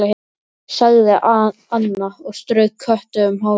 sagði Anna og strauk Kötu um hárið.